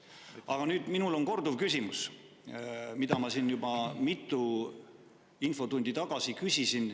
Aga minul on nüüd korduv küsimus, mida ma siin juba mitu infotundi tagasi küsisin.